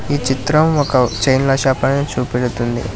ఈ చిత్రం ఒక చైన్ల షాప ని చూపెడుతుంది.